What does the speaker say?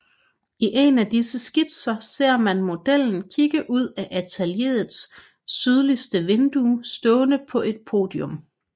I en af disse skitser ser man modellen kigge ud af atelieret sydligste vindue stående på et podium